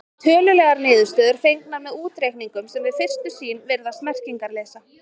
Þar eru tölulegar niðurstöður fengnar með útreikningum sem við fyrstu sýn virðast merkingarleysa.